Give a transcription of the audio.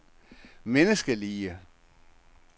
menneskelige